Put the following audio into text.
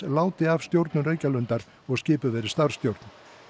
láti af stjórnun Reykjalundar og skipuð verði starfsstjórn